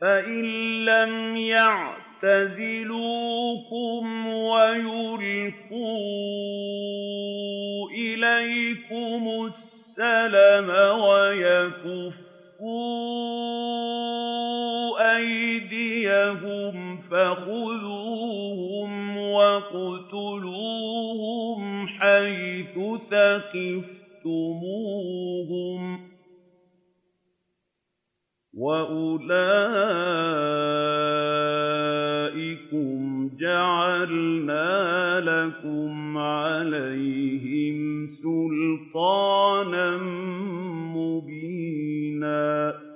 فَإِن لَّمْ يَعْتَزِلُوكُمْ وَيُلْقُوا إِلَيْكُمُ السَّلَمَ وَيَكُفُّوا أَيْدِيَهُمْ فَخُذُوهُمْ وَاقْتُلُوهُمْ حَيْثُ ثَقِفْتُمُوهُمْ ۚ وَأُولَٰئِكُمْ جَعَلْنَا لَكُمْ عَلَيْهِمْ سُلْطَانًا مُّبِينًا